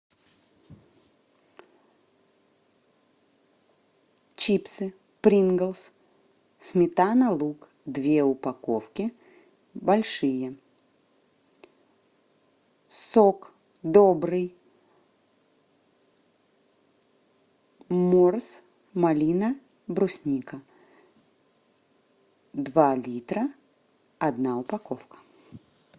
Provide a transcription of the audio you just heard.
чипсы принглс сметана лук две упаковки большие сок добрый морс малина брусника два литра одна упаковка